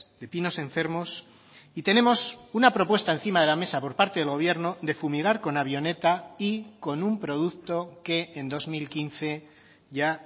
de pinos enfermos y tenemos una propuesta encima de la mesa por parte del gobierno de fumigar con avioneta y con un producto que en dos mil quince ya